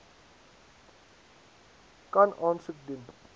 kan aansoek doen